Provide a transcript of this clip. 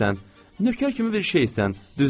Nökər kimi bir şeysən, düz deyil?